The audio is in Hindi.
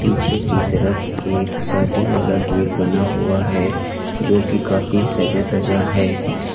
पीछे की तरफ एक शादी वाला गेट बना हुआ है जो की काफी सजा धजा है।